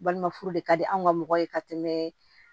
Balima furu de ka di anw ka mɔgɔ ye ka tɛmɛ